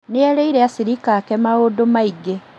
Nĩerĩire acirika ake maũndũ maingĩ